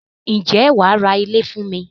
Ǹjẹ́ wàá ra ilé fún mi?